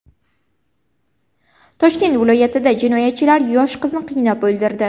Toshkent viloyatida jinoyatchilar yosh qizni qiynab o‘ldirdi.